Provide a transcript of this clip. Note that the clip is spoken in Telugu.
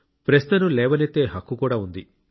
ప్రశ్నను లేవనెత్తే హక్కు కూడా ఉంది